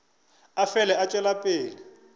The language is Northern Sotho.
a fele a tšwela pele